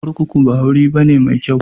Kurkuku ba wuri ne mai kyau ba.